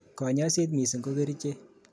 kanyoiset missing ko kerichek.